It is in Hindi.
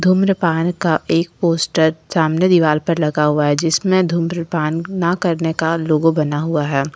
धूम्रपान का एक पोस्टर सामने दीवार पर लगा हुआ है जिसमें धूम्रपान ना करने का लोगो बना हुआ है।